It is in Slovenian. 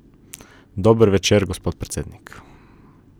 Dober večer, gospod predsednik.